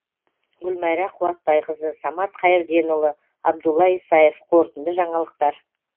гүлмайра қуатбайқызы самат қайірденұлы абдулла исаев қорытынды жаңалықтар